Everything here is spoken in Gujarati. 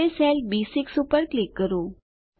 હવે સેલ બી6 પર ક્લિક કરો